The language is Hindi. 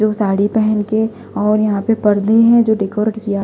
जो साड़ी पहन के और यहां पे पर्दे हैं जो डेकोरेट किया--